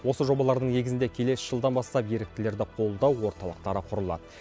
осы жобалардың негізінде келесі жылдан бастап еріктілерді қолдау орталықтары құрылады